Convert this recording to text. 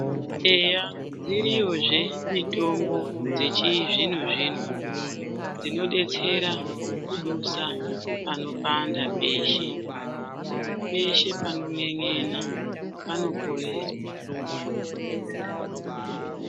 Eya dziriyozve mitombo dzechizvino zvino dzinodetsera kudusa panopanda peshe, peshe panon'en'ena panoporeshwa